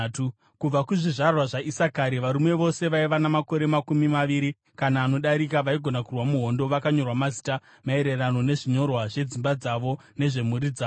Kubva kuzvizvarwa zvaIsakari: Varume vose vaiva namakore makumi maviri kana anodarika vaigona kurwa muhondo vakanyorwa mazita, maererano nezvinyorwa zvedzimba dzavo nezvemhuri dzavo.